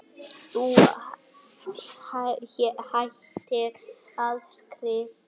Þú hættir að skrifa.